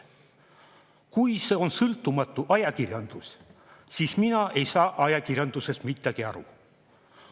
Kui see on sõltumatu ajakirjandus, siis mina ei saa ajakirjandusest midagi aru.